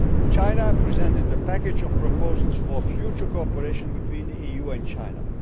levels. China presented a package of proposals for future cooperation between the EU and